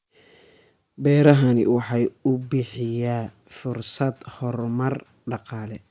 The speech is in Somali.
Beerahani waxa uu bixiyaa fursado horumar dhaqaale.